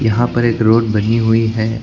यहां पर एक रोड बनी हुई है।